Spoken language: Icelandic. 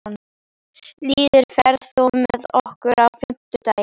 Lýður, ferð þú með okkur á fimmtudaginn?